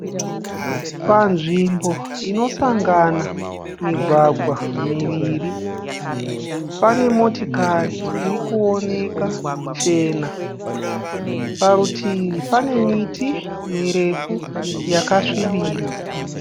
Panzvimbo inosangana migwagwa miviri pane motikari iri kuooneka chena. Parutivi pane miti mirefu yakasvibira .